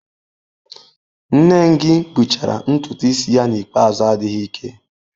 Nengi gbuchara ntutu isi ya n'ikpeazụ adịghị ike.